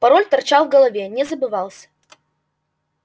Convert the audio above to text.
пароль торчал в голове не забывался